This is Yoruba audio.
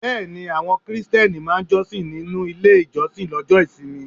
Bẹ́ẹ̀ni, àwọn Krìsìtẹ́nì máa ń jọ́sìn nínú ilé ìjọsìn Lọ́jo ìsinmi